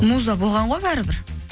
муза болған ғой бәрібір